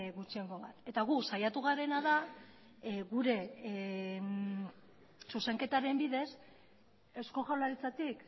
gutxiengo bat eta gu saiatu garena da gure zuzenketaren bidez eusko jaurlaritzatik